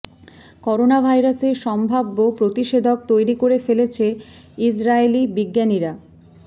corona ভাইরাসের সম্ভাব্য প্রতিষেধক তৈরি করে ফেলেছে ইসরায়েলি বিজ্ঞানীরা